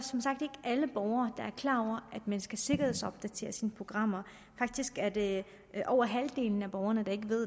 klar over at man skal sikkerhedsopdatere sine programmer faktisk er det over halvdelen af borgerne der ikke ved